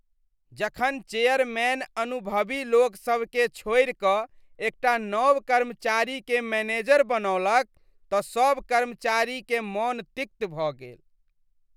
जखन चेयरमैन अनुभवी लोकसभकेँ छोड़ि कऽ एकटा नव कर्मचारीकेँ मैनेजर बनौलक तऽ सभ कर्मचारीकेँ मन तिक्त भऽ गेल।